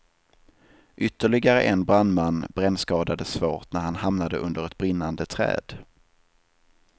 Ytterligare en brandman brännskadades svårt när han hamnade under ett brinnande träd.